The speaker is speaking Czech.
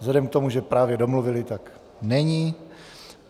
Vzhledem k tomu, že právě domluvili, tak není.